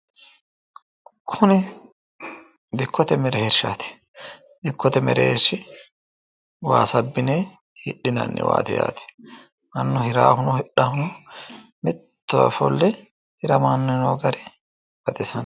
kuni dikkote mereershaati dikkote mereershaati waasa abbine hidhinaniwaati yaate mannu hiraahuno hidhaahuno mittowa ofolle hiramanni noo gari baxisanno.